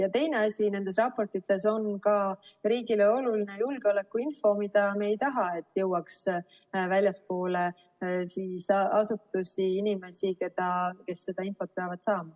Ja teine asi, nendes raportites on ka riigile oluline julgeolekuinfo, ning me ei taha, et see jõuaks väljapoole asutusi ja inimesi, kes seda infot peavad saama.